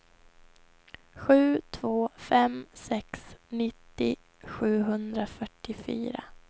sju två fem sex nittio sjuhundrafyrtiofyra